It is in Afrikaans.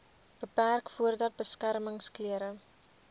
beperk voordat beskermingsklere